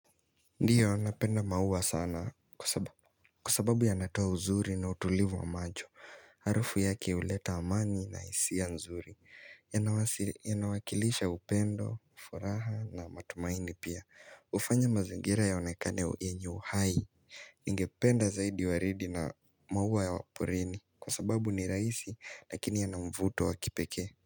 Ndiyo napenda maua sana kwa sababu yanatoa uzuri na utulivu wa macho Harufu yake huleta amani na hisia nzuri Yanawakilisha upendo, furaha na matumaini pia hufanya mazingira yaonekane yenyu uhai Ningependa zaidi waridi na maua ya porini Kwa sababu ni rahisi lakini yana mvuto wa kipekee.